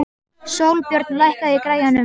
Sólbjörn, lækkaðu í græjunum.